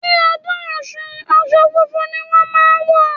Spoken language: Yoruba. Ní ọdún Ọ̀ṣun, aṣọ funfun ni wón máa ń wọ̀.